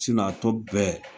a tɔ bɛɛ